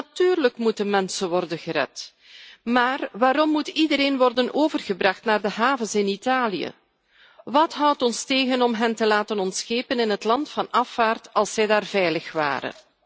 Natuurlijk moeten mensen worden gered, maar waarom moet iedereen worden overgebracht naar de havens in Italië? Wat houdt ons tegen om hen te laten ontschepen in het land van afvaart als ze daar veilig waren?